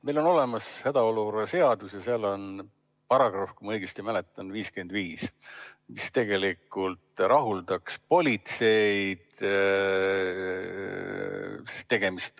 Meil on olemas hädaolukorra seadus, ja seal on paragrahv, mis tegelikult rahuldaks politseid.